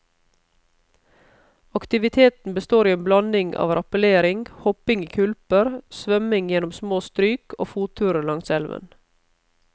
Aktiviteten består i en blanding av rappellering, hopping i kulper, svømming gjennom små stryk og fotturer langs elven.